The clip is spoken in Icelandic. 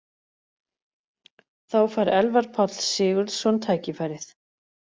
Þá fær Elvar Páll Sigurðsson tækifærið.